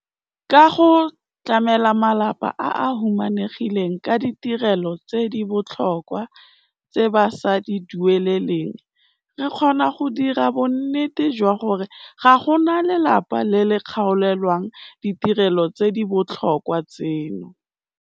Ka go tlamela malapa a a humanegileng ka ditirelo tse di botlhokwa tse ba sa di dueleleng, re kgona go dira bonnete jwa gore ga go na lelapa le le kgaolelwang ditirelo tse di botlhokwa tseno.